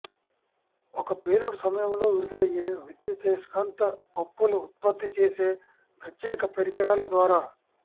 ఒక పేలుడు సమయంలో విడుదలయ్యే విద్యుదయస్కాంత పప్పులు ఉత్పత్తి చేసే ప్రత్యేక పరికరాల ద్వారా